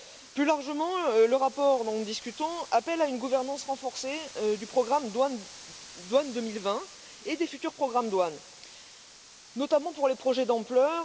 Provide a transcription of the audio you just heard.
Plus largement, le rapport dont nous discutons appelle à une gouvernance renforcée du programme Douane 2020 et des futurs programmes Douanes, notamment pour les projets d'ampleur.